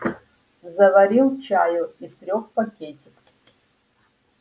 заварил чаю из трёх пакетиков